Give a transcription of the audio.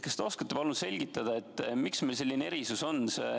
Kas te oskate palun selgitada, miks meil selline erisus on?